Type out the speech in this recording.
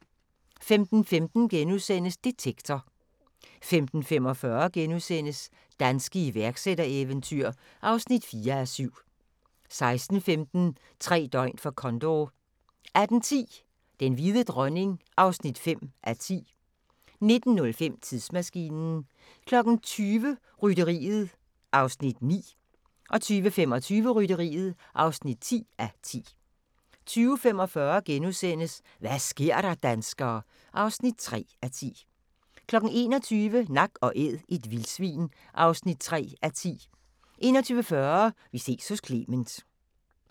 15:15: Detektor * 15:45: Danske iværksættereventyr (4:7)* 16:15: Tre døgn for Condor 18:10: Den hvide dronning (5:10) 19:05: Tidsmaskinen 20:00: Rytteriet (9:10) 20:25: Rytteriet (10:10) 20:45: Hva' sker der, danskere? (3:10)* 21:00: Nak & Æd – et vildsvin (3:10) 21:40: Vi ses hos Clement